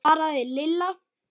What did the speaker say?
svaraði Lilla.